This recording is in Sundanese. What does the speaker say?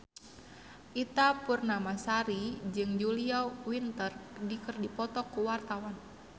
Ita Purnamasari jeung Julia Winter keur dipoto ku wartawan